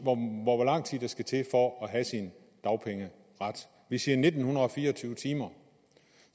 om hvor lang tid der skal til for at have sin dagpengeret vi siger nitten fire og tyve timer